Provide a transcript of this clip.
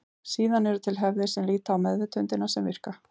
Síðan eru til hefðir sem líta á meðvitundina sem virka.